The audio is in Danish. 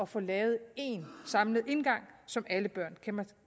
få lavet én samlet indgang som alle børn